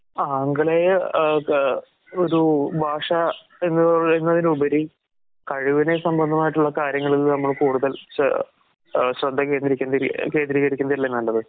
ആഗലേയ അഹ് ഒരൂ ഭാഷ എന്ന് പറയുന്നതിലുപരി കഴിവിനെ സംബന്ധമായിട്ടുള്ള കാര്യങ്ങളീന്ന് നമ്മൾ കൂടുതൽ സെ ഏഹ് ശ്രെദ്ധകേന്ദ്രീ കേന്ദ്രീകരിക്കുന്നതല്ലെ കൂടുതൽ